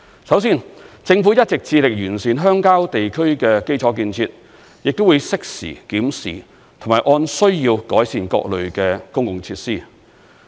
首先，政府一直致力完善鄉郊地區的基礎建設，亦會適時檢視，並按需要改善各類公共設施。